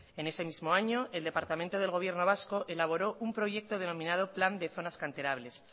en ese mismo año el departamento del gobierno vasco elaboró un proyecto denominado plan de zonas canterables